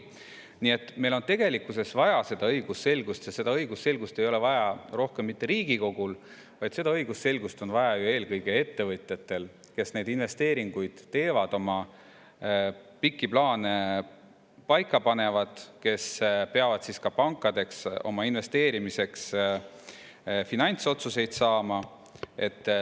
Nii et meil on tegelikkuses vaja õigusselgust ja seda ei ole vaja rohkem mitte Riigikogule, vaid õigusselgust on vaja eelkõige ettevõtjatele, kes investeeringuid teevad, pikki plaane paika panevad ja kes peavad ka pankadest investeerimiseks finantsotsuseid saama.